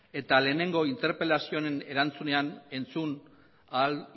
eta lehenengo interpelazio honen erantzunean entzun ahal